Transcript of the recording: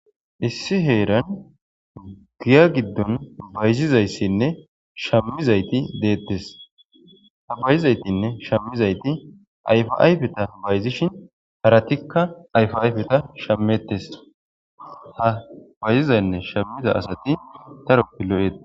Isi heeran giya giidon Bayzizaysine shamizayti Detes Ha mayzanne shamizasatti ayfa ayfetas Bayzishin Eytika ayfa ayfe shametes Ha bayzizane Shamiza Asati Daroti lo'etes